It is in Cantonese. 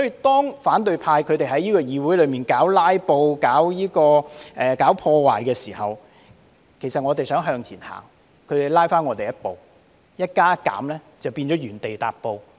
當反對派在議會搞"拉布"、搞破壞的時候，當我們想向前走，他們卻拉我們後退一步，一加一減就變了原地踏步。